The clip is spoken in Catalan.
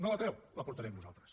no la treu la portarem nosaltres